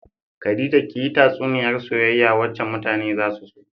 Khadija kiyi tatsuniyar soyayya wacce mutane za su so.